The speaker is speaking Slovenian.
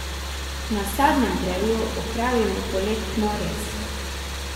Na sadnem drevju opravimo poletno rez.